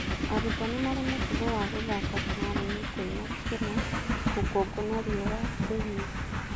Arutwo nĩ marĩ mũtugo wa gũthaka kĩharo-inĩ kwĩna kĩna rũkũngũ na riũa rĩhio.